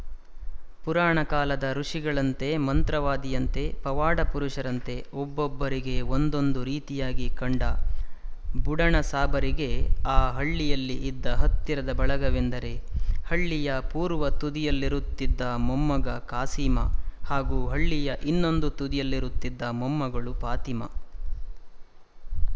ಪುರಾಣ ಕಾಲದ ಋಷಿಗಳಂತೆ ಮಂತ್ರವಾದಿಯಂತೆ ಪವಾಡಪುರುಷರಂತೆಒಬ್ಬೊಬ್ಬರಿಗೆ ಒಂದೊಂದು ರೀತಿಯಾಗಿಕಂಡ ಬುಡಣಸಾಬರಿಗೆ ಆ ಹಳ್ಳಿಯಲ್ಲಿ ಇದ್ದ ಹತ್ತಿರದ ಬಳಗವೆಂದರೆ ಹಳ್ಳಿಯ ಪೂರ್ವದ ತುದಿಯಲ್ಲಿರುತ್ತಿದ್ದ ಮೊಮ್ಮಗ ಕಾಸೀಮ ಹಾಗೂ ಹಳ್ಳಿಯ ಇನ್ನೊಂದು ತುದಿಯಲ್ಲಿರುತ್ತಿದ್ದ ಮೊಮ್ಮಗಳು ಫಾತಿಮಾ